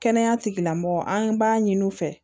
Kɛnɛya tigilamɔgɔ an b'a ɲini u fɛ